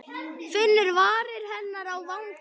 Finnur varir hennar á vanga.